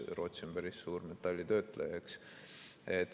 Rootsi on päris suur metallitöötleja, eks.